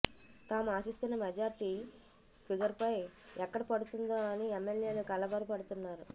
తాము ఆశిస్తున్న మెజార్టీ ఫిగర్పై ఎక్కడ పడుతుందో అని ఎమ్మెల్యేలు కలవరపడుతున్నారు